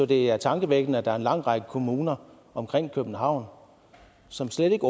det er tankevækkende at der er en lang række kommuner omkring københavn som slet ikke